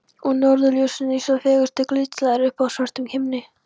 Og norðurljósin eins og fegurstu glitslæður uppi á svörtum himni.